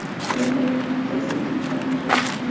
Biroq ularni tezda tinchlantirishgan.